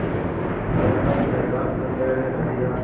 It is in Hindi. कर हर मैदान फ़तेह रे बंदेया